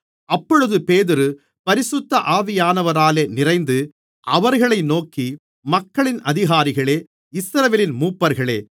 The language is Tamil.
அப்பொழுது பேதுரு பரிசுத்த ஆவியானவராலே நிறைந்து அவர்களை நோக்கி மக்களின் அதிகாரிகளே இஸ்ரவேலின் மூப்பர்களே